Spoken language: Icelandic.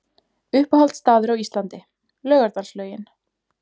Uppáhalds staður á Íslandi: Laugardalslaugin